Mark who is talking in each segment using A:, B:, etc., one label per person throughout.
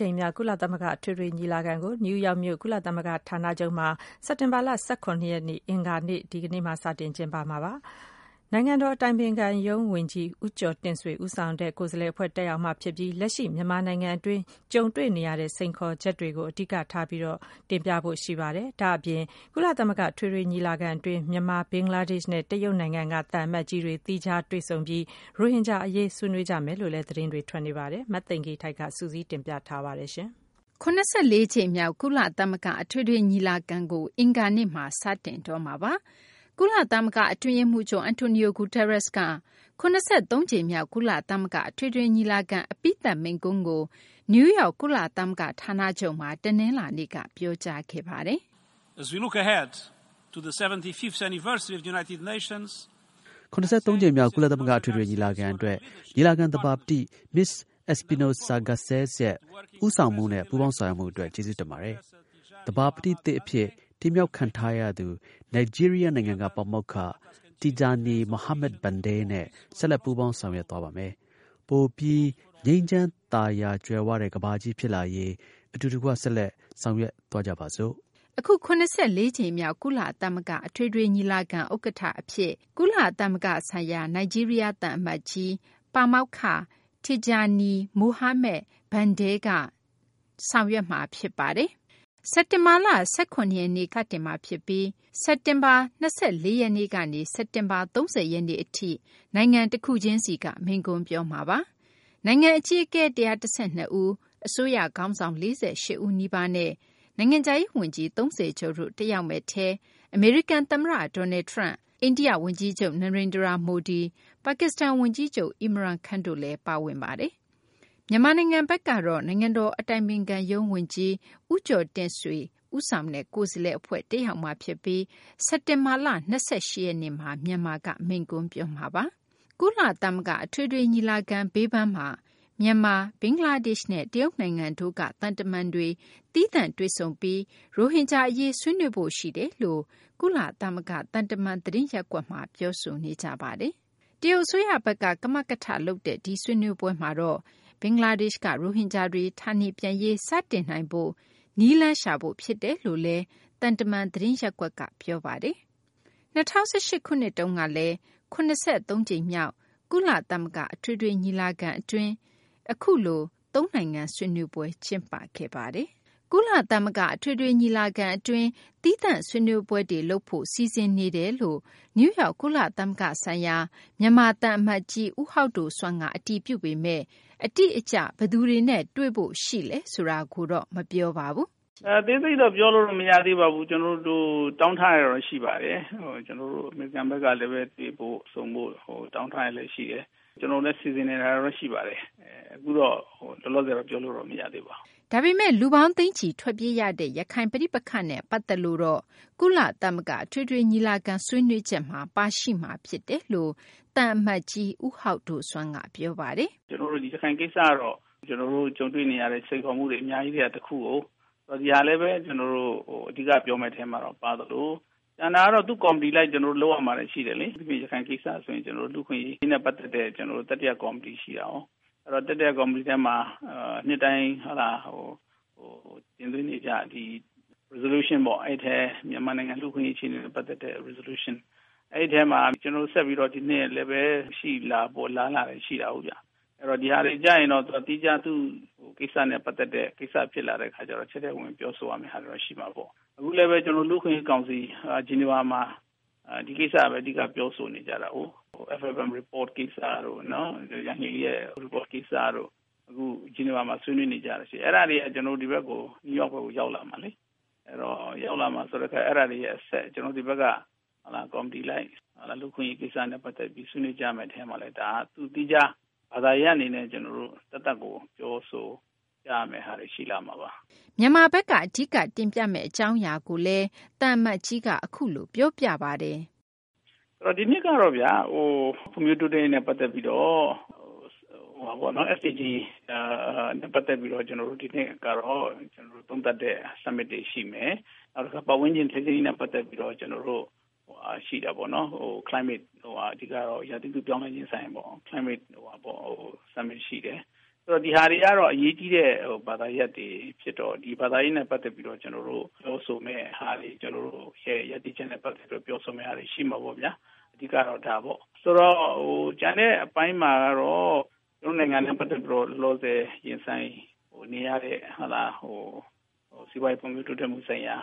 A: ကြိမ်မြောက် ကုလသမဂ္ဂ အထွေထွေ ညီလာခံကို အမေရိကန် ပြည်ထောင်စု နယူးယောက်မြို့ ကုလသမဂ္ဂ ဌာနချုပ်မှာ စက်တင်ဘာလ ၁၇ ရက်နေ့ အင်္ဂါနေ့မှာ စတင်ကျင်းပမှာပါ။ နိုင်ငံတော် အတိုင်ပင်ခံရုံး ဝန်ကြီး ဦးကျော်တင့်ဆွေ ဦးဆောင်တဲ့ ကိုယ်စားလှယ် အဖွဲ့ တက်ရောက်မှာ ဖြစ်ပြီး လက်ရှိ မြန်မာနိုင်ငံတွင်း ကြုံတွေ့နေရတဲ့ အခြေအနေ စိန်ခေါ်ချက်တွေကို အဓိက ထားတင်ပြဖို့ ရှိနေပါတယ်။ ဒါ့အပြင် ကုလသမဂ္ဂ အထွေထွေ ညီလာခံ အတွင်း မြန်မာ၊ ဘင်္ဂလားဒေရှ့်နဲ့ တရုတ်နိုင်ငံက သံအမတ်ကြီးတွေ သီးခြားတွေ့ဆုံပြီး ရိုဟင်ဂျာ အရေး ဆွေးနွေးကြမယ်လို့လည်း သတင်းတွေ ထွက်နေပါတယ်။ မသိင်္ဂ ီထိုက် စုစည်းတင်ပြထားပါတယ်။ ၇၄ ကြိမ်မြောက် ကုလသမဂ္ဂ အထွေထွေ ညီလာခံကို အင်္ဂါနေ့မှာ စတင်တော့မှာပါ။ ကုလသမဂ္ဂ အတွင်းရေးမှူးချုပ် Antonio Guterres က ၇၃ ကြိမ်မြောက် ကုလသမဂ္ဂ အထွေထွေ ညီလာခံ အပြီးသတ် မိန့်ခွန်းကို နယူးယောက် ကုလသမဂ္ဂ ဌာနချုပ်မှာ တနလာၤနေ့မှာ ပြောကြားခဲ့ပါတယ်
B: ။ “ ၇၃ ကြိမ
A: ်
B: မြောက် ကုလသမဂ္ဂ အထွေထွေ ညီလာခံ အတွက် ညီလာခံ သဘာပတိ မစ္စ Espinosa Garcés ရဲ့ ဦးဆောင်မှုနဲ့ ပူးပေါင်းဆောင်ရွက်မှု အတွက် ကျေးဇူးတင်ပါတယ်။ သဘာပတိသစ် အဖြစ် တင်မြှောက်ခံထားရသူ နိုင်ဂျီးရီးယား နိုင်ငံက ပါမောက္ခ Tijjani Muhammad-Bande နဲ့ ဆက်လက် ပူးပေါင်းဆောင်ရွက်သွားပါမယ်။ ပိုပြီး ငြိမ်းချမ်းသာယာ ကြွယ်ဝတဲ့ ကမ္ဘာကြီး ဖြစ်လာရေး အတူတကွ ဆက်လက် ဆောင်ရွက်သွားကြပါစို့။
A: ” အခု ၇၄ ကြိမ်မြောက် ကုလသမဂ္ဂ အထွေထွေ ညီလာခံ ဥက္ကဌ အဖြစ် ကုလသမဂ္ဂဆိုင်ရာ နိုင်ဂျီးရီးယား သံအမတ်ကြီး Tijjani Muhammad-Bande က ဆောင်ရွက်မှာပါ။ စက်တင်ဘာလ ၁၇ ရက်နေ့ကနေ စတင်မှာ ဖြစ်ပြီး စက်တင်ဘာ ၂၄ ရက်နေ့ကနေ စက်တင်ဘာလ ၃၀ ရက်နေ့ အထိ နိုင်ငံတခုချင်းစီက မိန့်ခွန်းပြောမှာပါ။ နိုင်ငံ အကြီးအကဲ ၁၁၂ ဦး၊ အစိုးရ ခေါင်းဆောင် ၄၈ ဦး နီးပါးနဲ့ နိုင်ငံခြားရေး ဝန်ကြီး ၃၀ ကျော်တို့ တက်ရောက်မယ့် အထဲ အမေရိကန် သမ္မတ Donald Trump၊ အိန္ဒိယ ဝန်ကြီးချုပ် Narandra Modi၊ ပါကစ္စတန် ဝန်ကြီးချုပ် Irman Khan တို့လည်း ပါဝင်ပါတယ်။ မြန်မာနိုင်ငံ ဘက်ကတော့ နိုင်ငံတော် အတိုင်ပင်ခံရုံး ဝန်ကြီး ဦးကျော်တင့်ဆွေဦးဆောင် တက်ရောက်မှာဖြစ်ပြီး စက်တင်ဘာလ ၂၈ ရက်နေ့မှာ မြန်မာက မိန့်ခွန်းပြောမှာပါ။ ကုလသမဂ္ဂ အထွေထွေ ညီလာခံ အတွင်း မြန်မာ၊ ဘင်္ဂလားဒေရှ့်နဲ့ တရုတ်နိုင်ငံတို့က သံတမန်တွေ သီးသန့် တွေ့ဆုံပြီး ရိုဟင်ဂျာ အရေး ဆွေးနွေးဖို့ ရှိတယ်လို့ ကုလသမဂ္ဂ သံတမန် သတင်းရပ်ကွက်မှာ ပြောဆိုနေကြပါတယ်။ တရုတ်အစိုးရဘက်က ကမကထ လုပ်တဲ့ ဒီဆွေးနွေးပွဲမှာတော့ ဘင်္ဂလားဒေရှ့်က ရိုဟင်ဂျာတွေ ဌာနေပြန်ရေး စတင်နိုင်ဖို့ နည်းလမ်းရှာဖို့ ဖြစ်တယ်လို့လည်း သံတမန် သတင်းရင်းမြစ်တွေက ပြောဆိုကြပါတယ်။၂၀၁၈ ခုနှစ်တုန်းက ၇၃ ကြိမ်မြောက် ကုလသမဂ္ဂ အထွေထွေ ညီလာခံမှာတော့ အခုလို သုံးနိုင်ငံ ဆွေးနွေးပွဲ လုပ်ခဲ့ပါတယ်။ ကုလသမဂ္ဂ အထွေထွေ ညီလာခံ အတွင်း သီးသန့်ဆွေးနွေးပွဲတွေ လုပ်ဖို့ စီစဉ်နေတာတွေ ရှိနေကြောင်း နယူးယောက် ကုလသမဂ္ဂ ဆိုင်ရာ မြန်မာ သံအမတ်ကြီး ဦးဟောက်ဒိုဆွမ်းက အတည်ပြုပေမယ့် အတိအကျ ဘယ်သူတွေနဲ့ တွေ့ဖို့ ရှိလဲ ဆိုတာကိုတော့ မပြောပါဘူး
B: ။ “ အသေးစိတ်တော့ ကျနော်တို့ပြောလို့မရသေးပါဘူး။ ကျနော်တို့ တောင်းထားတာတော့ရှိပါတယ်။ ကျနေ်ာတို့ဘက်ကလည်း တွေ့ဆုံဖို့ တောင်းထားတာတွေလည်းရှိတယ်။ ကျနော်တို့လည်း စီစဉ်နေတာတော့ရှိပါတယ်။ အခုလောလောဆည်တော့ ပြောလို့တော့ မရသေးပါဘူး။
A: ” ဒါပေမယ့် ရိုဟင်ဂျာတွေ သိန်းချီ ထွက်ပြေးခဲ့ရတဲ့ ရခိုင် ပဋိပက္ခနဲ့ ပတ်သက်လို့ကတော့ ကုလသမဂ္ဂ အထွေထွေ ညီလာခံ ဆွေးနွေးချက်မှာ ပါရှိမှာ ဖြစ်တယ်လို့ သံအမတ်ကြီး ဦးဟောက်ဒိုဆွမ်းက ပြောပါတယ်
B: ။ “ရခိုင်ကိစ္စကတော့ ကျနော်တို့ ကြုံတွေ့နေရတဲ့ စိန်ခေါ်မှုတွေ အများကြီးထဲက တခုကို ဒါကိုလည်း ကျနော်တို့ အဓိက ပြောမယ့်အထဲမှာ ပါသလို ကျန်တာကတော့ သူ့ကော်မတီအလိုက် လုပ်ရမှာတွေ ရှိတယ်လေ။ အထူးသဖြင့် ရခိုင်ကိစ္စဆိုရင် လူ့အခွင့်အရေးနဲ့ ပတ်သက်တဲ့ တတိယ ကော်မတီရှိတာကို အဲဒီ တတိယကော်မတီထဲမှာ နှစ်တိုင်း တင်သွင်းနေကြ resolution အဲဒီအထဲ မြန်မာနိုငံ လူ့အခွင့်အရေးအခြေအနေနဲ့ ပတ်သက်တဲ့ resolution မှာ ကျနော်တို့ ဒီနှစ်လည်း ရှိလာဖို့အလားအလာရှိပါတယ်။ ဒါတွေကျရင်တော့ သီးခြား သူ့ကိစ္စနဲ့ ပတ်သက်တဲ့ဟာတွေ ဖြစ်လာတော့ ထဲထဲဝင်ဝင်ပြောဆိုရမှာတော့ ရှိလာမှာပေါ့။ အခုလည်း ကျနော်တို့ လူ့အခွင့်အရေးကောင်စီ Geneva မှာ ဒီကိစ္စပဲ အဓိက ပြောဆိုနေကြတာကို FFM report ကိစ္စတို့ ယန်ဟီးလီ report ကိစ္စတို့ Geneva မှာဆွေးနွေးနေတာရှိတယ်။ အဲဒါတွေ ဒီ New York ဘက်ကို ရောက်လာမှာလေ ။ အဲဒါတွေအဆက် ကျနော်တို့ ဒီဘက်က ကော်မတီလိုင်း လူ့အခွင့်အရေးကိစ္စနဲ့ ပတ်သက်ပြီး ဆွေးနွေးကြမယ့်အထဲမှာလည်း ဒါက သူ့သီးခြားဘာသာရပ်အနေနဲ့ ပြောဆိုရမယ့် ဟာတွေ ရှိလာမှာပါ
A: ။” ဒါ့အပြင် မြန်မာဘက်က အဓိက တင်ပြမယ့် အကြောင်းအရာတွေကိုလည်း သံအမတ်ကြီးက အခုလို ပြောပါတယ်
B: ။ “ဒီနှစ်ကတော့ ဖွံ့ဖြိုးတိုးတက်ရေးနဲ့ ပတ်သက်ပြီးတော့ ကျနော်တို့ တိုက်ရိုက် သုံးသပ်တဲ့ summit တွေရှိမယ်။ ပတ်ဝန်းကျင်ထိန်းသိမ်းရေးနဲ့ ပတ်သက်ပြီးတော့ ရာသီဥတုပြောင်းလဲခြင်းဆိုင်ရာပေါ့ Climate summit ရှိမယ်။ ဒါတွေကတော့ အရေးကြီးတဲ့ ဘာသာရပ်တွေဖြစ်တော့ ဒါနဲ့ ပတ်သက်ပြီးတော့ ကျနော်တို့ပြောဆိုမယ့်ဟာတွေ ကျနော်တို့ ရပ်တည်ချက်တွေ ပြောဆိုမှာတွေ ရှိမှာပေါ့ဗျာ အဓိကတော့ ဒါပေါ့။ ဆိုတော့ ကျန်တဲ့အပိုင်းမှာတော့ ကျနော်တို့ နိုင်ငံနဲ့ ပတ်သက်ပြီးတော့ လောလောဆည် ရင်ဆိုင်နေရတဲ့ စီးပွားရေးဖွံ့ဖြိုးတိုးတက်မှု ဆိုင်ရာ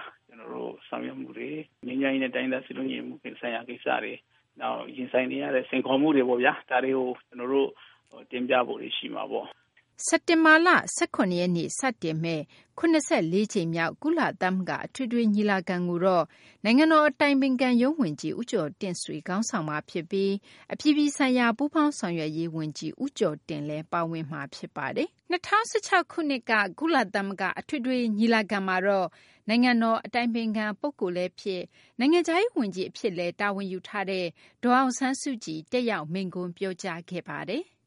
B: ဆောင်ရွက်မှုတွေ ၊ ငြိမ်းချမ်းရေးနဲ့ တိုင်းရင်းသား စည်းလုံးညီညွှတ်မှု ဆိုင်ရာတွေ နောက် ရင်ဆိုင်နေရတဲ့ စိန်ခေါ်မှုတွေပေါ့ဗျာ။ ဒါတွေကို ကျနော်တို့ တင်ပြဖို့တွေ ရှိမှာပေါ့။”
A: စက်တင်ဘာလ ၁၇ ရက်နေ့ စတင်မယ့် ၇၄ ကြိမ်မြောက် ကုလသမဂ္ဂ အထွေထွေ ညီလာခံကိုတော့ နိုင်ငံတော် အတိုင်ပင်ခံရုံး ဝန်ကြီး ဦးကျော်တင့်ဆွေက ခေါင်းဆောင်မှာ ဖြစ်ပြီး အပြည်ပြည်ဆိုင်ရာ ပူးပေါင်းဆောင်ရွက်ရေး ဝန်ကြီး ဦးကျော်တင်လည်း ပါဝင်မှာ ဖြစ်ပါတယ်။ ၂၀၁၆ ခုနှစ်က ကုလသမဂ္ဂမှာ နိုင်ငံတော် အတိုင်ပင်ခံ ပုဂ္ဂိုလ် လည်းဖြစ် နိုင်ငံခြားရေး ဝန်ကြီး လည်းဖြစ်တဲ့ ဒေါ်အောင်ဆန်းစုကြည်က တက်ရောက် မိန့်ခွန်းပြောကြားခဲ့ပါတယ်။